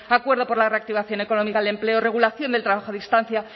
acuerdo por la reactivación económica del empleo regulación del trabajo a distancia